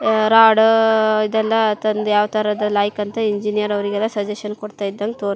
ಆಆ ರಾಡಅ ಇದೆಲ್ಲಾ ತಂದಿ ಯಾವತರದ್ ಲಾಯಕ್ ಅಂತ ಇಂಜಿನಿಯರ್ ಅವ್ರಿಗೆಲ್ಲಾ ಸಜೆಶನ್ ಕೊಡತ್ತಾ ಇದಂಗ್ ತೋರ್ --